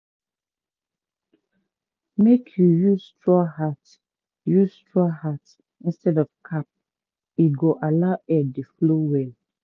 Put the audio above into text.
make you use straw hat use straw hat instead of cap—e go allow air dey flow well.